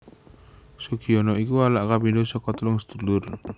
Sugiono iku anak kapindho saka telung sedulur